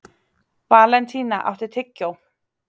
Valentína, áttu tyggjó?